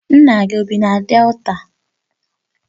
Nna gi o bi na Delta?